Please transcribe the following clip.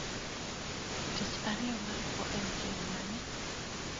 Tich ariyo maluwo en chieng ' mane?